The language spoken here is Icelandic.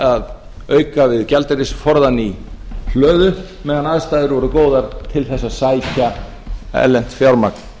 að auka við gjaldeyrisforðann í hlöðu meðan aðstæður voru góðar til þess að sækja erlent fjármagn